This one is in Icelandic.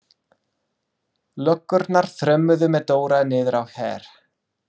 Löggurnar þrömmuðu með Dóra niður á Her.